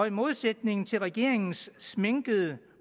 i modsætning til regeringens sminkede